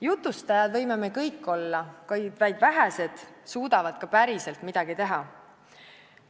Jutustajad võime kõik olla, kuid vaid vähesed suudavad ka päriselt midagi teha.